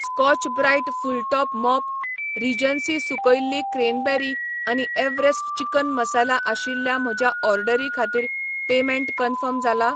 Scotch Brite फुटलॉक mop, Regency सुकयल्लीं cranberry आनी एव्हरेस्ट चिकन मसाला आशिल्ल्या म्हज्या ऑर्डरी खातीर पेमेंट कन्फर्म जाला ?